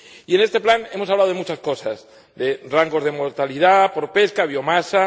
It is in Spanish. Y en este plan, hemos hablado de muchas cosas —de rango de mortalidad por pesca, de biomasa